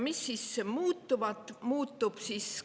Mis siis muutub?